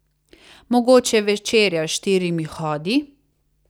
Mogoče večerja s štirimi hodi?